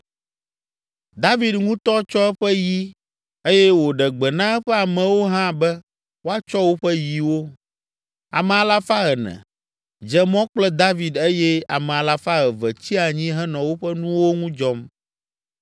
David ŋutɔ tsɔ eƒe yi eye wòɖe gbe na eƒe amewo hã be woatsɔ woƒe yiwo. Ame alafa ene (400) dze mɔ kple David eye ame alafa eve (200) tsi anyi henɔ woƒe nuwo ŋu dzɔm.